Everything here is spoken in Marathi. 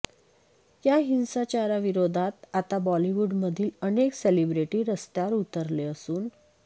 या हिंसाचाराविरोधात आता बॉलिवूडमधील अनेक सेलिब्रेटी रस्त्यावर उतरले असून